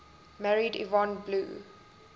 married yvonne blue